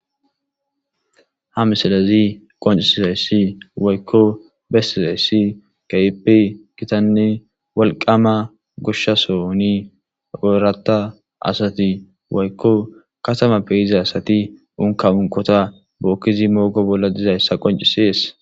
Ha misalazi qoncisizayssi woykko bessizayssi kayipi gitanne walqama gushshasoni oorata asati woykko katama peyiza asati unka unqota bookkizi moogo bolla dizayssa qoncisies.